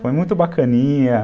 Foi muito bacaninha.